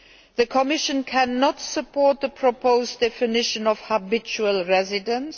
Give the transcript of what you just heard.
The Commission cannot support the proposed definition of habitual residence